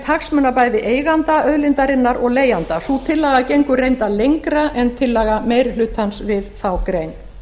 hagsmuna bæði eiganda auðlindarinnar og leigjanda sú tillaga gengur reyndar lengra en tillaga meiri hlutans við þá grein